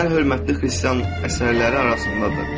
Ən hörmətli xristian əsərləri arasındadır.